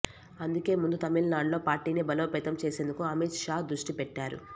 అందుకే ముందు తమిళనాడులో పార్టీని బలోపేతం చేసేందుకు అమిత్ షా దృష్టిపెట్టారు